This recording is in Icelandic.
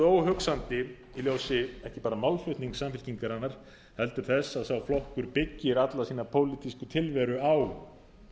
óhugsandi í ljósi ekki bara málflutningi samfylkingarinnar heldur þess að sá flokkur byggir alla sína pólitísku tilveru á